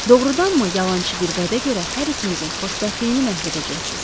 Doğrudanmı yalançı bir vədə görə hər ikimizin xoşbəxtliyini məhv edəcəksiz?